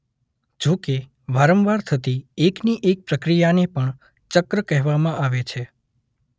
જો કે વાંરવાર થતી એકની એક પ્રક્રિયાને પણ ચક્ર કહેવામાં આવે છે.